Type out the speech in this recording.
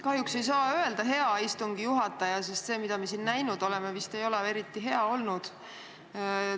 Kahjuks ei saa öelda "hea" istungi juhataja, sest see, mida me siin näinud oleme, vist ei ole eriti hea olnud.